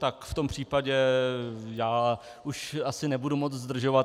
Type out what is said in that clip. Tak v tom případě já už asi nebudu moc zdržovat.